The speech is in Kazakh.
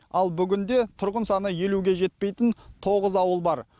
ал бүгінде тұрғын саны елуге жетпейтін тоғыз ауыл бар